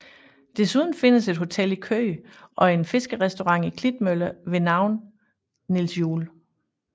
Desuden findes et hotel i Køge og en fiskerestaurant i Klitmøller med navnet Niels Juel